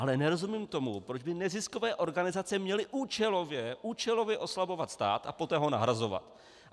Ale nerozumím tomu, proč by neziskové organizace měly účelově oslabovat stát a poté ho nahrazovat.